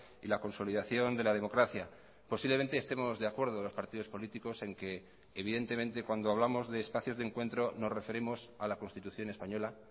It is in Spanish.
y la consolidación de la democracia posiblemente estemos de acuerdo los partidos políticos en que evidentemente cuando hablamos de espacios de encuentro nos referimos a la constitución española